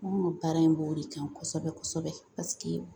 Baara in b'o de kan kosɛbɛ kosɛbɛ